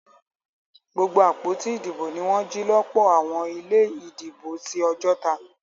Gbogbo àpótí ìdìbò ní wọn jì lọpọ àwọn ilé ìdìbò tí Ojota